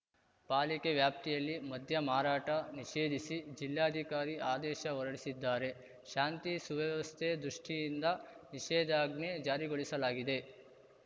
ಪಾಲಿಕೆ ವ್ಯಾಪ್ತಿಯಲ್ಲಿ ಮದ್ಯ ಮಾರಾಟ ನಿಷೇಧಿಸಿ ಜಿಲ್ಲಾಧಿಕಾರಿ ಆದೇಶ ಹೊರಡಿಸಿದ್ದಾರೆ ಶಾಂತಿ ಸುವ್ಯವಸ್ಥೆ ದೃಷ್ಟಿಯಿಂದ ನಿಷೇಧಾಜ್ಞೆ ಜಾರಿಗೊಳಿಸಲಾಗಿದೆ